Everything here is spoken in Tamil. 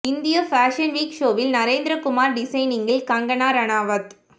இந்திய ஃபேஷன் வீக் ஷோவில் நரேந்திர குமார் டிசைனிங்கில் கங்கனா ரனாவத்